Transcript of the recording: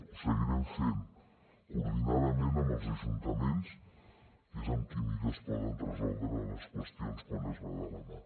ho seguirem fent coordinadament amb els ajuntaments que és amb qui millor es poden resoldre les qüestions quan es va de la mà